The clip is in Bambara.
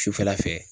Sufɛla fɛ